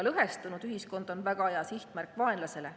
Lõhestunud ühiskond on väga hea sihtmärk vaenlasele.